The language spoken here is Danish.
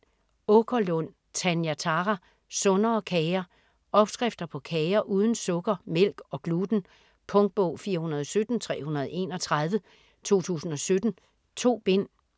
Aakerlund, Tanja Thara: Sundere kager Opskrifter på kager uden sukker, mælk og gluten. Punktbog 417331 2017. 2 bind.